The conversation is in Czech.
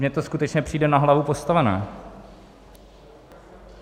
Mně to skutečně přijde na hlavu postavené.